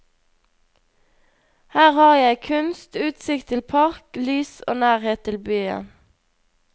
Her har jeg kunst, utsikt til park, lys og nærhet til byen.